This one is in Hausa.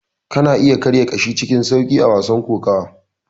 Kana iya karya ƙashin cikin sauƙi a wasan kokawa.